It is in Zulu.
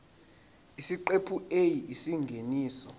isiqephu a isingeniso